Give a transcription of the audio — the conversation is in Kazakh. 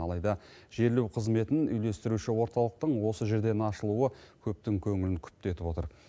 алайда жерлеу қызметін үйлестіруші орталықтың осы жерден ашылуы көптің көңілін күпті етіп отыр